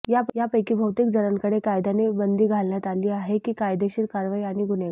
यापैकी बहुतेक जणांकडे कायद्याने बंदी घालण्यात आली आहे की कायदेशीर कारवाई आणि गुन्हेगार